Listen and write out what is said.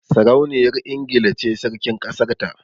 Sarauniyar Ingila ce Sarkin kasar ta